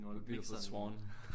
What a beautiful swan